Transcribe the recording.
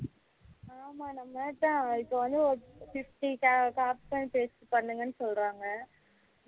ஆமா அப்படிதான் இப்போ வந்து ஒரு fifty copy and paste பண்ணுங்க சொல்லுறாங்க